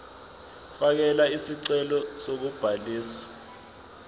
fakela isicelo sokubhaliswa